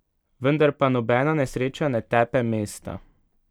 Vendar pa nobena nesreča ne tepe mesta.